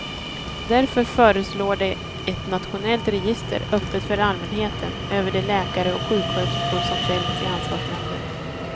Därför föreslår de ett nationellt register, öppet för allmänheten, över de läkare och sjuksköterskor som fällts i ansvarsnämnden.